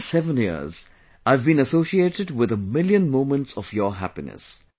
In these 7 years, I have been associated with a million moments of your happiness